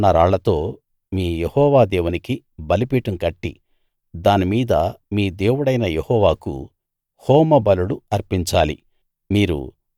చెక్కకుండా ఉన్న రాళ్లతో మీ యెహోవా దేవునికి బలిపీఠం కట్టి దాని మీద మీ దేవుడైన యెహోవాకు హోమబలులు అర్పించాలి